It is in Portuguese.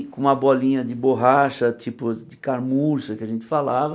E com uma bolinha de borracha, tipo de carmuça, que a gente falava,